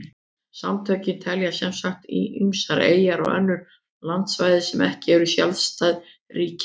Samtökin telja sem sagt ýmsar eyjar og önnur landsvæði sem ekki eru sjálfstæð ríki með.